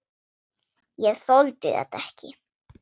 Ég þoldi þetta ekki.